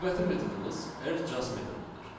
Növbəti metodumuz R adjust metodudur.